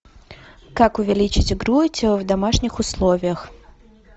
как увеличить грудь в домашних условиях